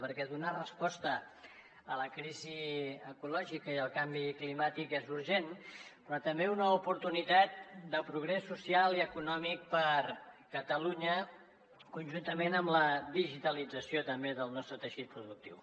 perquè donar resposta a la crisi ecològica i al canvi climàtic és urgent però també una oportunitat de progrés social i econòmic per a catalunya conjuntament amb la digitalització també del nostre teixit productiu